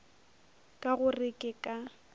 ka go re ke ka